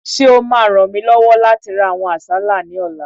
Ṣé o máa ràn mí lọ́wọ́ láti ra àwọn àsálà ní ọ̀la?